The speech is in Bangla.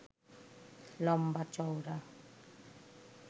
লম্বা চওড়া